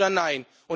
Ja oder nein?